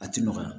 A ti nɔgɔya